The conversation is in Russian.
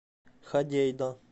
ходейда